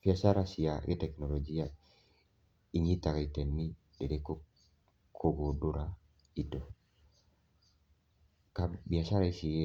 Biacara cia gĩ- tekinoronjia inyitaga itemi rĩrĩkũ kũgundũra indo? Biacara icirĩ